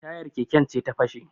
Tayar keken ce ta fashe